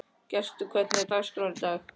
Gestur, hvernig er dagskráin í dag?